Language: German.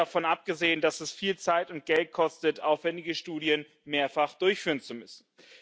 Ganz davon abgesehen, dass es viel Zeit und Geld kostet, aufwändige Studien mehrfach durchführen zu müssen.